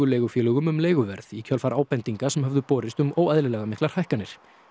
leigufélögum um leiguverð í kjölfar ábendinga sem höfðu borist um óeðlilega miklar hækkanir